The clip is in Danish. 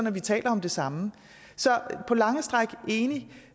at vi taler om det samme så på lange stræk